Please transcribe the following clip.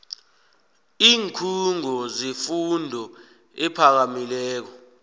iinkhungo zefundo ephakamileko